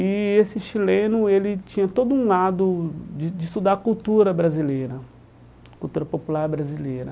E esse chileno, ele tinha todo um lado de de estudar cultura brasileira, cultura popular brasileira.